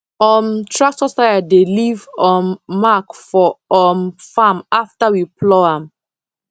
um tractor tyre dey leave um mark for um farm after we plough am